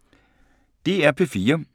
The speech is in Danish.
DR P3